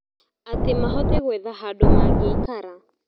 Atĩ mahote gwetha handũ mangĩikara.